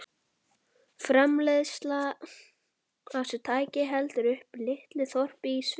Framleiðsla á þessu tæki heldur uppi litlu þorpi í Sviss.